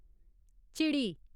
चिड़ी